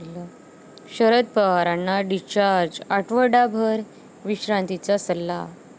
शरद पवारांना डिस्चार्ज, आठवडाभर विश्रांतीचा सल्ला